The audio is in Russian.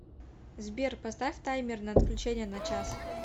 сбер поставь таймер на отключение на час